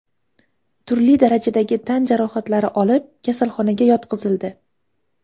turli darajadagi tan jarohatlari olib kasalxonaga yotqizildi.